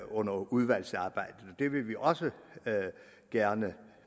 under udvalgsarbejdet og det vil vi også gerne